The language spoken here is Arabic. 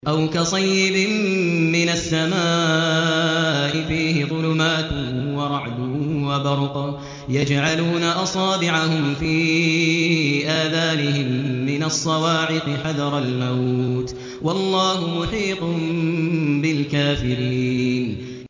أَوْ كَصَيِّبٍ مِّنَ السَّمَاءِ فِيهِ ظُلُمَاتٌ وَرَعْدٌ وَبَرْقٌ يَجْعَلُونَ أَصَابِعَهُمْ فِي آذَانِهِم مِّنَ الصَّوَاعِقِ حَذَرَ الْمَوْتِ ۚ وَاللَّهُ مُحِيطٌ بِالْكَافِرِينَ